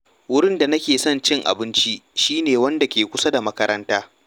Wurin da nake son cin abinci shi ne wanda ke kusa da makaranta.